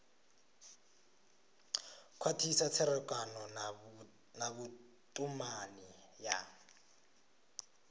khwathisa tserekano na vhutumani ya